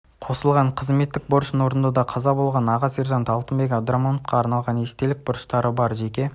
қосылған қызметтік борышын орындауда қаза болған аға сержан алтынбек абдрахмановқа арналаған естелік бұрыштары бар жеке